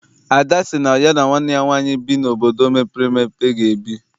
Ada sị na ya na nwanne ya nwaanyị bi n'obodo mepere emepe ga ebi.